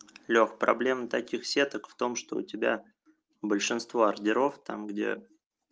лёх проблемы таких сеток в том что у тебя большинство ордеров там где